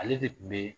Ale de kun be